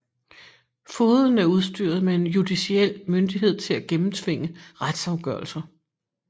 Fogeden er udstyret med judiciel myndighed til at gennemtvinge retsafgørelser